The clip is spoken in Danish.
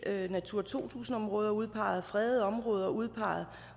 natura to tusind områder udpeget fredede områder udpeget